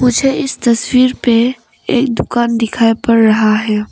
मुझे इस तस्वीर पे एक दुकान दिखाई पड़ रहा है।